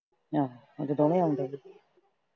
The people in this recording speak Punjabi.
ਆਹੋ ਓਦੇ ਦੋਵੇਂ ਆਉਂਦੇ ਤੀ।